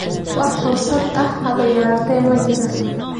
Wax fursad ah haba yaraatee ma jirto.